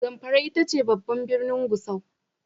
Zamfara ita ce babban birnin Gusau.